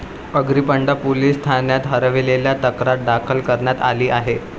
Agripada police ठाण्यात हरवल्याची तक्रार दाखल करण्यात आली आहे.